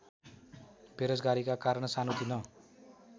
बेरोजगारीका कारण सानोतिनो